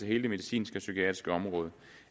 hele det medicinske og psykiatriske område